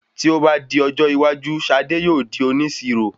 Tí o bá di ọjọ́ iwájú Sade yóò di onísirò